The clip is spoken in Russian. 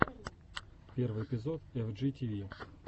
первый эпизод эф джи ти ви